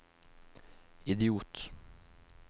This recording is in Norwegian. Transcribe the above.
idiot